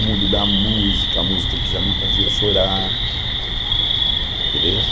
o mundo da música, a música que já me fazia chorar. Entendesse